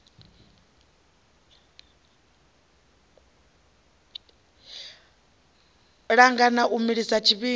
langana u mu milisa tshivhindi